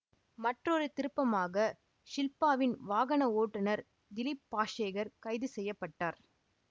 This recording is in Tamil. மற்றோரு திருப்பமாக ஷில்பாவின் வாகன ஓட்டுநர் திலீப் பாஷேகர் கைது செய்ய பட்டார்